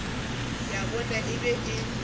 ya bona e be e